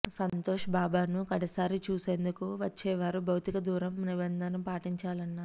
సంతోష్ బాబను కడసారి చూసేందుకు వచ్చేవారు భౌతిక దూరం నిబంధన పాటించాలన్నారు